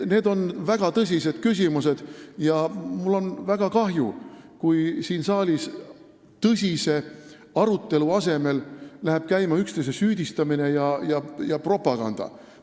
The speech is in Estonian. Need on väga tõsised küsimused ja mul on väga kahju, kui siin saalis läheb tõsise arutelu asemel käima üksteise süüdistamine ja propaganda.